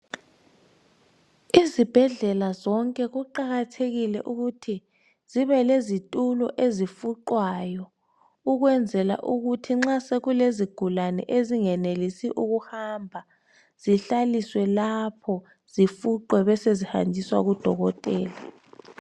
Izibhedlela zonke kuqakathekile ukuthi zibe lezitulo ezifuqwayo. Ukwenzela ukuhi nxa sekulezigulane ezingenelisi ukuhamba. Zihlaliswe lapho. Zifuqwe, besezihanjiswa, kudokotela.